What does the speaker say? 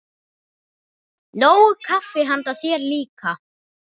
Nóg kaffi handa þér líka.